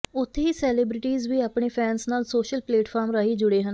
ਉਥੇ ਹੀ ਸੈਲੇਬ੍ਰਿਟੀਜ਼ ਵੀ ਆਪਣੇ ਫੈਨਸ ਨਾਲ ਸੋਸ਼ਲ ਪਲੇਟਫਾਰਮ ਰਾਹੀ ਜੁੜੇ ਹਨ